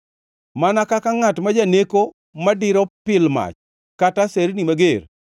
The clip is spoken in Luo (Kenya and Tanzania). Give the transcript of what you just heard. Mana kaka ngʼat ma janeko madiro pil mach kata aserni mager,